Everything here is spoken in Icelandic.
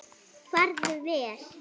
Farðu vel.